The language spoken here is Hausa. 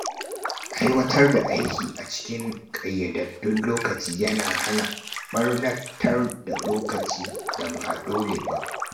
Aiwatar da aiki a cikin ƙayyadaddun lokaci yana hana ɓarnatar da lokacin da ba dole ba.